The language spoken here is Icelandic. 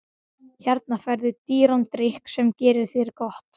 Hérna færðu dýran drykk sem gerir þér gott.